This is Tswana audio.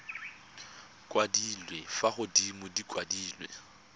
kwadilwe fa godimo di kwadilwe